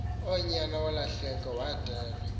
unyana wolahleko wadelwa